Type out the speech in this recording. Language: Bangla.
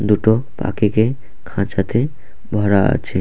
দুটো পাখিকে খাঁচাতে ভরা আছে।